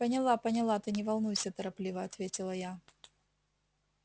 поняла поняла ты не волнуйся торопливо ответила я